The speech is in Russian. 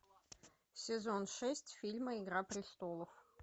сезон шесть фильма игра престолов